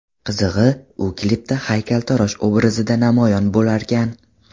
Qizig‘i, u klipda haykaltarosh obrazida namoyon bo‘larkan.